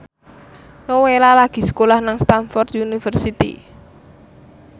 Nowela lagi sekolah nang Stamford University